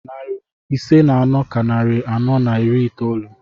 Narị ise na anọ ka narị anọ na iri itoolu.